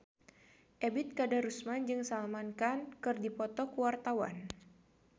Ebet Kadarusman jeung Salman Khan keur dipoto ku wartawan